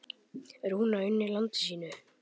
Rúna unni landi sínu.